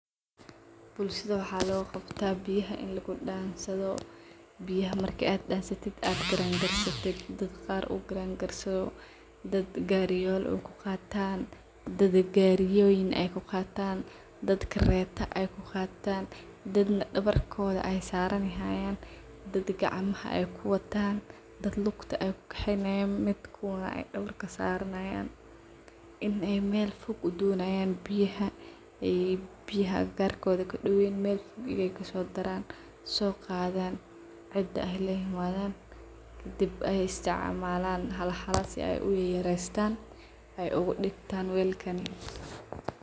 Bulshada waxa looga qabtaa biyaha in lagu daamsadho. Biyaha markaad aad damsatit aad garan garsatit; dadka qaar u garan garsado, daad gariyol uu kuqataan, daad gariyoyin ay kugaatan, daad kareeto ay kugataan daad na dawarkodha aay saaranihayan daad gacamaha ay kuwataan daad lugta aay kukaxeynayan midkuwaan dawarka saraanayan in ay meel foog u doonayan biyaha ay biyaha agagarkodha ka daween meel biyo ay kasodaran soo gadhaan cida ay laa imadhan kadib ay isticmalan hala hala ay uyayarestaan ay ugadigtaan weelkani .